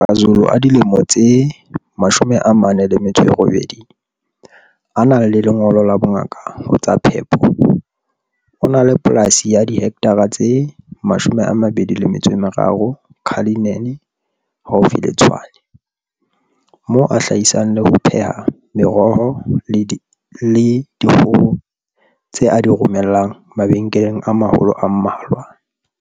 Ngaka Zulu a dilemo tse 48, a nang le lengolo la bongaka ho tsa phepo, o na le polasi ya dihektara tse 23 Cullinan haufi le Tshwane, moo a hlahisang le ho pheha meroho le dikgoho tse a di romellang mabenkeleng a maholo a mmalwa.